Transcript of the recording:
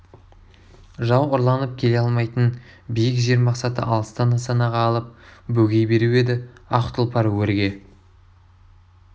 жау ұрланып келе алмайтын биік жер мақсаты алыстан нысанаға алып бөгей беру еді ақ тұлпар өрге